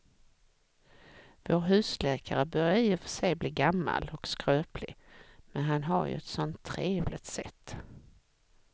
Vår husläkare börjar i och för sig bli gammal och skröplig, men han har ju ett sådant trevligt sätt!